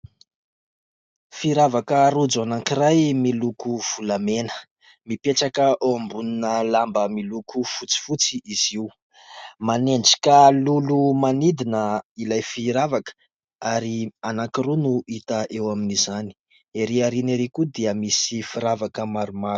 Firavaka rojo anankiray miloko volamena. Mipetraka eo ambonina lamba miloko fotsifotsy izy io. Manendrika lolo manidina ilay firavaka ary anankiroa no hita eo amin'izany. Ery aoriana ery koa dia misy firavaka maromaro.